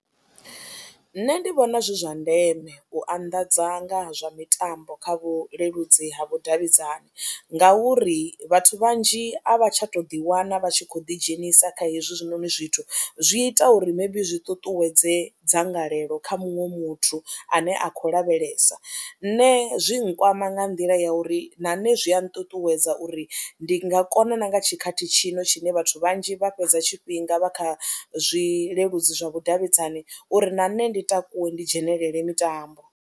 Nṋe ndi vhona zwi zwa ndeme u anḓadza nga zwa mitambo kha vhuleludzi ha vhudavhidzani ngauri vhathu vhanzhi a vha tsha tou ḓiwana vha tshi khou ḓidzhenisa kha hezwinoni zwithu zwi ita uri maybe zwi ṱuṱuwedze dzangalelo kha muṅwe muthu ane a khou lavhelesa, nṋe zwi nkwama nga nḓila ya uri na nṋe zwi a nṱuṱuwedza uri ndi nga kona na nga tshikhathi tshino tshine vhathu vhanzhi vha fhedza tshifhinga vha kha zwileludzi zwa vhudavhidzani uri na nṋe ndi takuwe ndi dzhenelele mitambo.